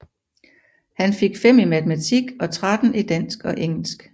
Han fik 5 i Matematik og 13 i Dansk og Engelsk